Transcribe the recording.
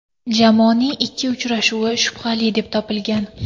Jamoaning ikki uchrashuvi shubhali deb topilgan.